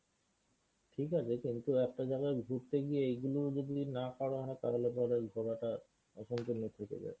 ঠিকাছে কিন্তু একটা জায়গায় ঘুরতে গিয়ে এইগুলো যদি না করা হয় তাহলে পরে ঘোরাটা অসম্পূর্ণ থেকে যায়।